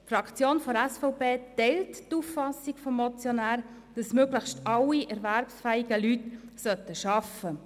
Die Fraktion der SVP teilt die Auffassung des Motionärs, dass möglichst alle erwerbsfähigen Leute arbeiten sollten.